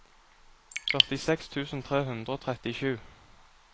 førtiseks tusen tre hundre og trettisju